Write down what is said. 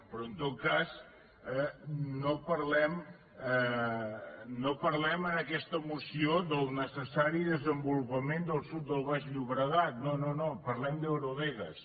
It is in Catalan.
però en tot cas no parlem en aquesta moció del necessari desenvolupament del sud del baix llobregat no no no parlem d’eurovegas